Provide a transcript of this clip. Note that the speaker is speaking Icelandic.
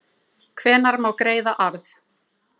hvenær má greiða arð